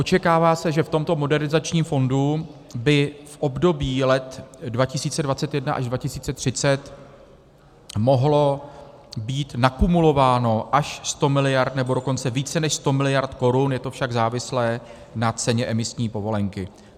Očekává se, že v tomto Modernizačním fondu by v období let 2021 až 2030 mohlo být nakumulováno až 100 miliard, nebo dokonce více než 100 miliard korun, je to však závislé na ceně emisní povolenky.